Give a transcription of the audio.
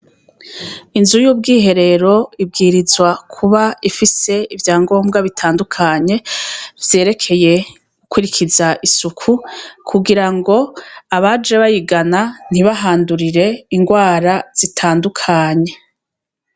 Inzu y'ubwiherero ibwirizwa kuba ifise ivya ngombwa bitandukanye vyerekeye gukurikiza isuku kugira ngo abaje bayigana ntibahandurire ingwara.